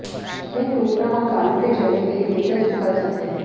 यह टूटना और बालों के झड़ने के लिए नेतृत्व कर सकते हैं